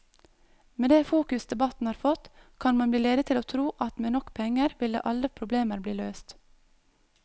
Med det fokus debatten har fått, kan man bli ledet til å tro at med nok penger ville alle problemer bli løst.